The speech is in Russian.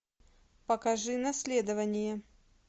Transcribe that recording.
покажи наследование